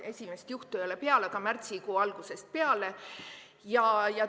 Esimest juhtu ei ole märgitud, aga märtsikuu algusest peale.